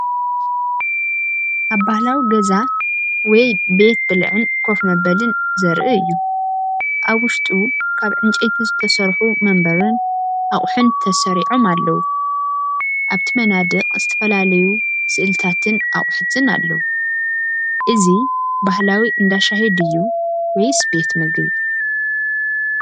ኣብ ባህላዊ ገዛ ወይ ቤት ብልዒን ኮፍ መበልን ዘርኢ እዩ። ኣብ ውሽጡ ካብ ዕንጨይቲ ዝተሰርሑ መንበርን ኣቕሑን ተሰሪዖም ኣለዉ። ኣብቲ መናድቕ ዝተፈላለዩ ስእልታትን ኣቑሑትን ኣለዉ። እዚ ባህላዊ እንዳ ሻሂ ድዩ ወይስ ቤት ምግቢ?